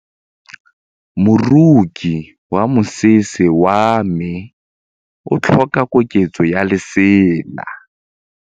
Moroki wa mosese wa me o tlhoka koketsô ya lesela.